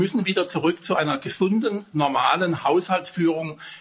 Wir müssen wieder zurück zu einer gesunden, normalen Haushaltsführung.